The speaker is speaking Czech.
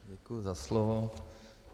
Děkuji za slovo.